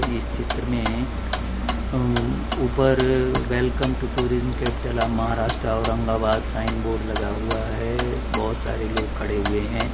इस चित्र में अम ऊपर welcome to tourism capital of Maharashtra Aurangabad sign board लगा हुआ है बहोत सारे लोग खड़े हुए हैं।